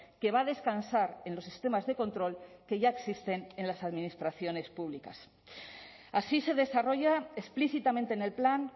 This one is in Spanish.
que va a descansar en los sistemas de control que ya existen en las administraciones públicas así se desarrolla explícitamente en el plan